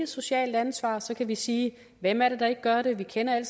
socialt ansvar så kan vi sige hvem er det der ikke gør det vi kender alle